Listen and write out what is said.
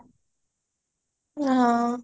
ହଁ